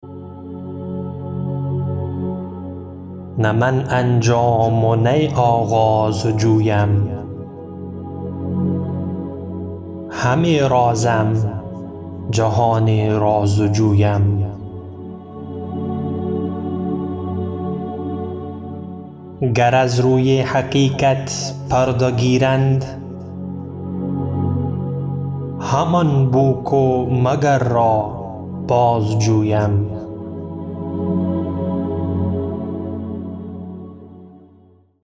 نه من انجام و نی آغاز جویم همه رازم جهان راز جویم گر از روی حقیقت پرده گیرند همان بوک و مگر را باز جویم